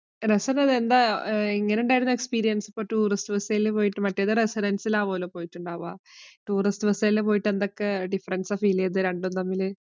എന്താ എങ്ങനെയുണ്ടായിരുന്നു experience. ഇപ്പൊ tourist visa യില്‍ പോയിട്ട്. മറ്റേത് residence ലാവുലോ പോയിട്ടുണ്ടാവുക. tourist visa യില്‍ പോയിട്ട് എന്തൊക്കെ difference ആണ് feel ചെയ്തത് രണ്ടും തമ്മില്.